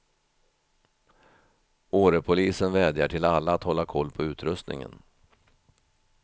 Årepolisen vädjar till alla att hålla koll på utrustningen.